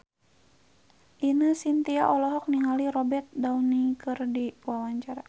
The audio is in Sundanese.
Ine Shintya olohok ningali Robert Downey keur diwawancara